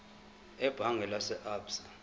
ebhange lase absa